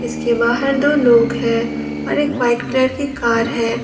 इसके बाहर दो लोग हैं और एक वाइट कलर की कार है।